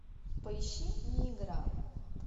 поищи не игра